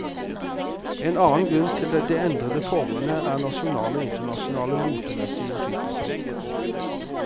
En annen grunn til de endrede formene er nasjonale og internasjonale motemessige innflytelser.